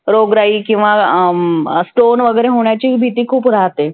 रोगराई किंवा अह stone वगैरे होण्याची भिती खुप राहते.